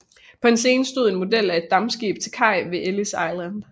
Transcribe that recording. På en scene stod en model af et dampskib til kaj ved Ellis Island